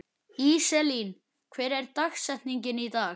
Íselín, hver er dagsetningin í dag?